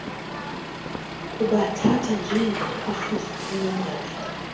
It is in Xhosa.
kubathatha njengophuhliso olumandla